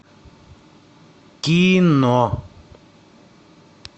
кино